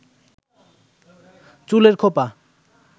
চুলের খোপা